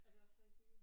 Er det også her i byen?